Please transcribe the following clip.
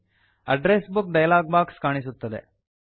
address book dialog box ಕಾಣಿಸುತ್ತದೆ